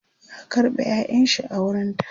ya karɓe ƴaƴanshi a wurinta